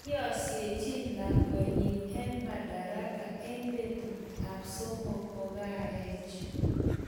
Iyasiechin lakwenyi en madaraka en petut ap somok kokaech